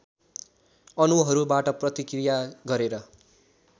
अणुहरुबाट प्रतिक्रिया गरेर